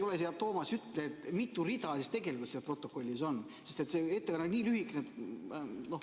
Ole hea, Toomas, ütle, mitu rida tegelikult seal protokollis on, sest see ettekanne on nii lühikene.